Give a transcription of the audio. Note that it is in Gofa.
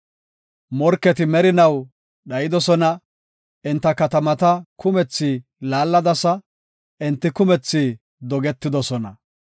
Morketi merinaw dhayidosona; enta katamata kumethi laalladasa; enti kumethi dogetidosona.